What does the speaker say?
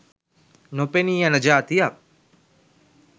නොපෙනී යන ජාතියක්.